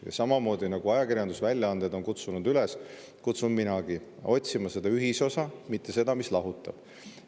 Ja samamoodi, nagu ajakirjandusväljaanded on kutsunud üles, kutsun minagi otsima ühisosa, mitte seda, mis lahutab.